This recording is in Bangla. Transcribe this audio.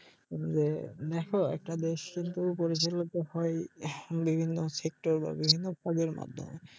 যে দেখো একটা দেশ কিন্তু পরিচালিত হয় বিভিন্ন সেক্টর বা বিভিন্ন পদের মাধ্যমে